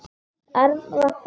Erni var sama.